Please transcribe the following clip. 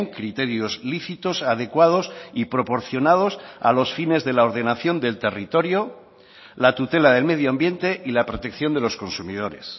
criterios lícitos adecuados y proporcionados a los fines de la ordenación del territorio la tutela del medio ambiente y la protección de los consumidores